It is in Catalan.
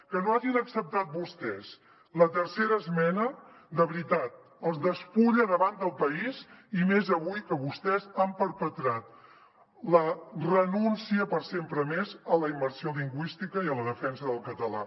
que no hagin acceptat vostès la terce·ra esmena de veritat els despulla davant del país i més avui que vostès han perpe·trat la renúncia per sempre més a la immersió lingüística i a la defensa del català